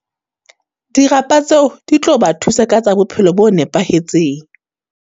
Dirapa tseo, di tlo ba thusa ka tsa bophelo bo nepahetseng.